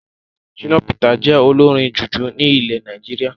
Shina Peters jẹ olórin jùjú ní ilẹ̀ Nàìjíríà